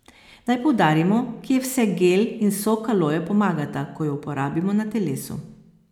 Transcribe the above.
Naj poudarimo, kje vse gel in sok aloje pomagata, ko ju uporabimo na telesu.